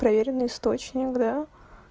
проверенный источник да